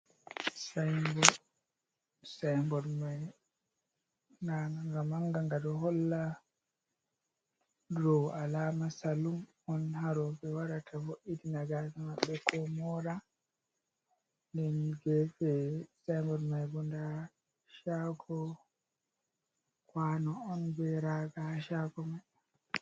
Sain bod. Sain bod mai nda nga ngamanga. Nga ɗo holla dau alama salun ha roɓe warata ɓ voitina hore maɓɓe, ko mora. Nden gefe mai bo nda shago kwanu on be raga shago mai.